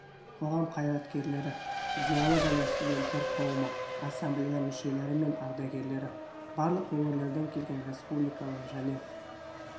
қоғам қайраткерлері зиялы және студенттер қауымы ассамблея мүшелері мен ардагерлері барлық өңірлерден келген республикалық және